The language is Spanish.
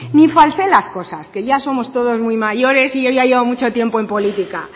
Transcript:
ni falsee las cosas que ya somos todos muy mayores y yo ya llevo mucho tiempo en política